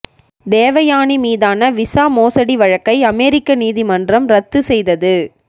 தேவயானி மீதான விசா மோசடி வழக்கை அமெரிக்க நீதிமன்றம் ரத்து செய்தது